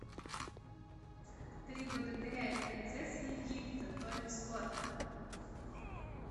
три богатыря и принцесса египта тони скотта